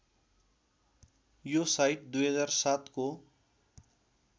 यो साइट २००७ को